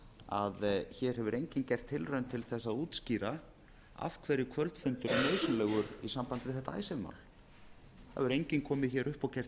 að hér hefur enginn gert tilraun til að útskýra af hverju kvöldfundur er nauðsynlegur í sambandi við þetta icesave mál það hefur enginn komið hingað upp og gert tilraun